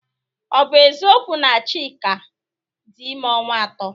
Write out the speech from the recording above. Ọ bụ eziokwu na Chika dị ime ọnwa ato?